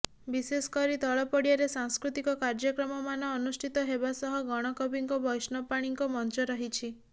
ବିଶେଷକରି ତଳ ପଡିଆରେ ସାଂସ୍କୃତିକ କାର୍ଯ୍ୟକ୍ରମମାନ ଅନୁଷ୍ଠିତ ହେବା ସହ ଗଣକବିଙ୍କ ବୈଷ୍ଣବ ପାଣିଙ୍କ ମଞ୍ଚ ରହିଛି